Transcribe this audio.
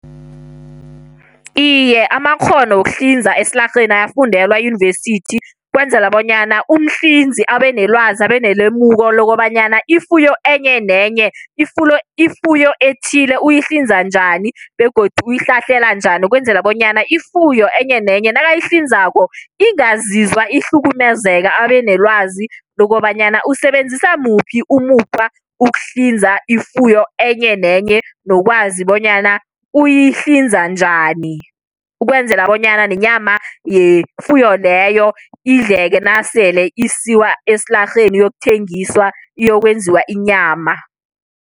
Iye, amakghono wokuhlinza esilarheni ayafundelwa eyunivesithi, ukwenzela bonyana umhlinzi abe nelwazi, abe nelemuko lokobanyana ifuyo enye, nenye ifuyo ifuyo ethile uyihlinza njani, begodu yihlahlela njani. Ukwenzela bonyana ifuyo enye nenye nakayihlinzako, ingazizwa ihlukumezeka. Abe nelwazi lokobanyana usebenzisa muphi umukhwa ukuhlinza ifuyo enye nenye, nokwazi bonyana uyihlinza njani. Ukwenzela bonyana nenyama yefuyo leyo idleke nasele isiwa esilarheni iyokuthengiswa, iyokwenziwa inyama.